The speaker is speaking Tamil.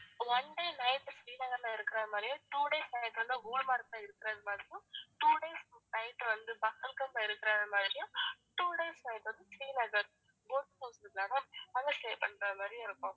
one day night ஸ்ரீநகர்ல இருக்கிறது மாதிரியும் two days night வந்து குல்மார்க்ல இருக்கிறது மாதிரியும் two days night வந்து பகல்காம்ல இருக்கிறது மாதிரியும் two days night வந்து ஸ்ரீநகர் boat house இருக்குல்ல ma'am அங்க stay பண்றது மாதிரியும் இருக்கும்